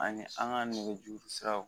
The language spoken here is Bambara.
Ani an ka nɛgɛjuru siraw